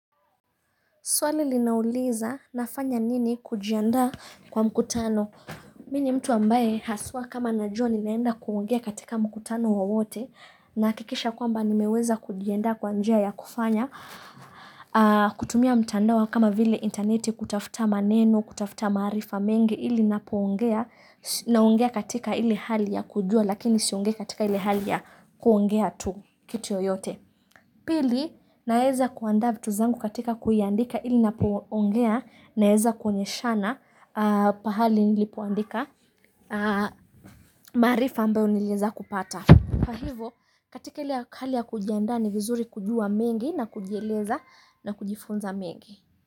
Swali linauliza nafanya nini kujianda kwa mkutano. Mimi ni mtu ambaye haswaa kama najua ninaenda kuongea katika mkutano wowote nahakikisha kwamba nimeweza kujiandaa kwa njia ya kufanya. Kutumia mtandao kama vile interneti kutafuta maneno kutafuta maarifa mengi ili napoongea naongea katika ili hali ya kujuwa lakini siongea katika ile hali ya kuongea tu kitu yoyote. Pili naeza kuanda vitu zangu katika kuiandika ili napoongea naeza kuonyeshana pahali nilipoandika maarifa ambayo nilieza kupata. Kwa hivo katika ile akali ya kujianda ni vizuri kujua mengi na kujieleza na kujifunza mengi.